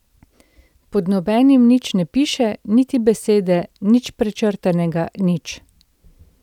Pod nobenim nič ne piše, niti besede, nič prečrtanega, nič.